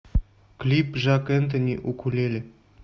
клип жак энтони укулеле